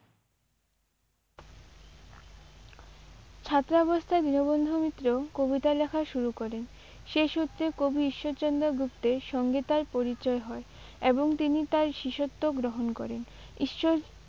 ছাত্রাবস্থায় দীনবন্ধু মিত্র কবিতা লেখা শুরু করেন। সেই সূত্রে কবি ঈশ্বরচন্দ্র গুপ্তের সঙ্গে তাঁর পরিচয় হয় এবং তিনি তাঁর শিষ্যত্ব গ্রহণ করেন। ঈশ্বর